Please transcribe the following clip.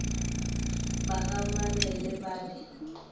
ba ga mabele ba re